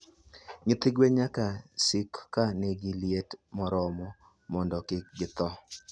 Nyithi gwen nyaka sik ka nigi liet moromo mondo kik githo.